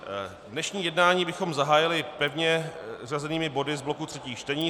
Dnešní jednání bychom zahájili pevně zařazenými body z bloku třetích čtení.